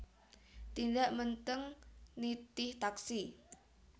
Tindak Menteng nitih taksi